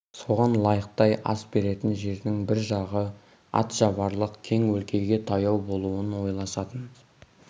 соған лайықтай ас беретін жердің бір жағы ат шабарлық кең өлкеге таяу болуын ойласатын